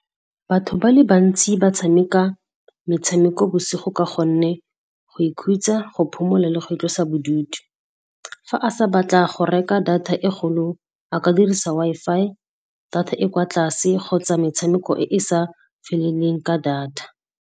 Batho ba le bantsi ba tshameka metshameko bosigo ka gonne go ikhutsa, go phomola le go itlosa bodutu. Fa a sa batla go reka data e kgolo, a ka dirisa Wi-Fi, data e kwa tlase kgotsa metshameko e e sa feleleng ka data.